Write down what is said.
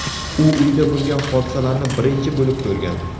U uyda bo‘lgan hodisalarni birinchi bo‘lib ko‘rgan.